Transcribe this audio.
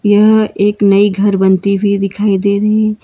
यह एक नई घर बनती हुई दिखाई दे रही है।